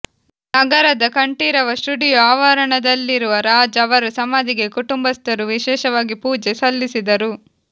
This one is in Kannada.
ನಗರದ ಕಂಠೀರವ ಸ್ಟುಡಿಯೋ ಆವರಣ ದಲ್ಲಿರುವ ರಾಜ್ ಅವರ ಸಮಾಧಿಗೆ ಕುಟುಂಬಸ್ಥರು ವಿಶೇಷವಾಗಿ ಪೂಜೆ ಸಲ್ಲಿಸಿದರು